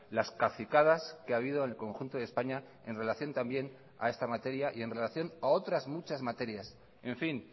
las cacicadas que ha habido en el conjunto de españa en relación también a esta materia y en relación a otras muchas materias en fin